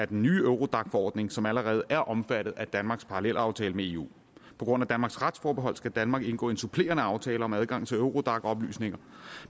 den nye eurodac forordning som allerede er omfattet af danmarks parallelaftale med eu på grund af danmarks retsforbehold skal danmark indgå en supplerende aftale om adgangen til eurodac oplysninger